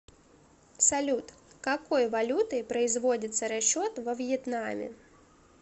салют какой валютой производится расчет во вьетнаме